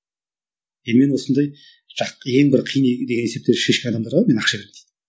енді мен осындай ең бір қиын деген есептерді шешкен адамдарға мен ақша беремін дейді